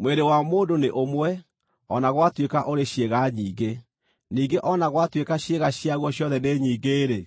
Mwĩrĩ wa mũndũ nĩ ũmwe, o na gwatuĩka ũrĩ ciĩga nyingĩ; ningĩ o na gwatuĩka ciĩga ciaguo ciothe nĩ nyingĩ-rĩ,